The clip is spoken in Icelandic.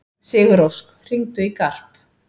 Sigurósk, hringdu í Garp.